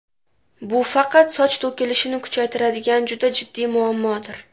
Bu faqat soch to‘kilishini kuchaytiradigan juda jiddiy muammodir.